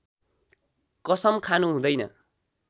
कसम खानु हुँदैन